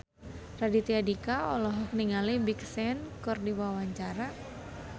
Raditya Dika olohok ningali Big Sean keur diwawancara